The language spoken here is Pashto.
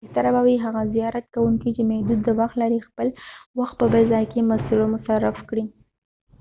بهتره به وي هغه زیارت کوونکي چې محدود وخت لري خپل وخت په بل ځای کې مصرف کړي